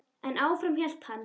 En áfram hélt hann.